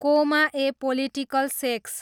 कोमा ए political sex